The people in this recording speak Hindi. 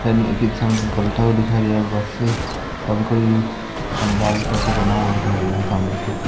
साइड में एक इंसान निकलता हुआ दिखाई दे रहा है ऊपर से सब कोई पंडाल सब को बना हुआ दिखाई दे रहा है सामने --